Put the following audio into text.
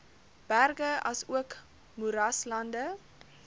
berge asook moeraslande